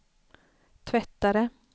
tvättare